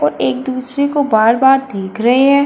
और एक दूसरे को बार-बार देख रहे है।